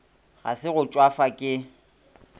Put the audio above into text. ga se go tšwafa ke